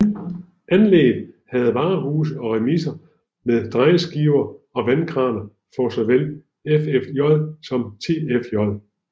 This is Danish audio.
Anlægget havde varehuse og remiser med drejeskiver og vandkraner for såvel FFJ som TFJ